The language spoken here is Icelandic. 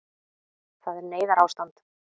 Það er neyðarástand